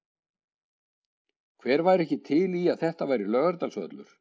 Hver væri ekki til í að þetta væri Laugardalsvöllur?